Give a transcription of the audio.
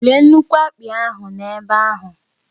Léé nnukwu akpị ahụ n'ebe ahụ